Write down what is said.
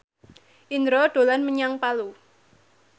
Indro dolan menyang Palu